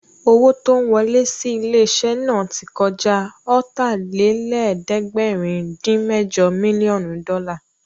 Owó tó ń wọlẹ́ sí ilé-iṣẹ́ náà tí kọjá Ọ̀tàlélẹ̀ẹ́dẹ́gbẹ̀rin-dín-mẹ́jọ mílíọ̀nù dọ́là